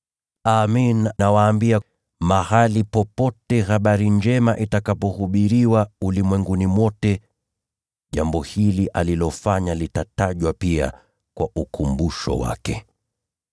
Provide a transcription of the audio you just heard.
Amin, nawaambia, mahali popote ulimwenguni ambapo hii Injili itahubiriwa, jambo hili alilolitenda huyu mwanamke litatajwa pia kwa ukumbusho wake.”